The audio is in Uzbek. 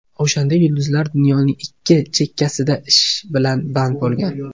O‘shanda yulduzlar dunyoning ikki chekkasida ish bilan band bo‘lgan.